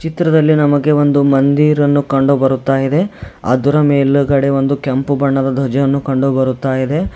ಚಿತ್ರದಲ್ಲಿ ನಮಗೆ ಒಂದು ಮಂದಿರನ್ನು ಕಂಡುಬರುತ್ತ ಇದೆ ಅದರ ಮೇಲುಗಡೆ ಒಂದು ಕೆಂಪು ಬಣ್ಣದ ಧ್ವಜವನ್ನು ಕಂಡುಬರುತ್ತ ಇದೆ.